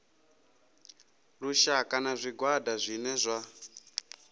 lushaka na zwigwada zwine zwa